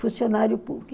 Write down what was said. funcionário